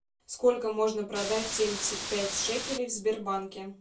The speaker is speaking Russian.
сколько можно продать семьдесят пять шекелей в сбербанке